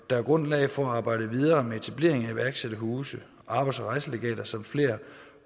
er grundlag for at arbejde videre med etablering af iværksætterhuse arbejds og rejselegater samt flere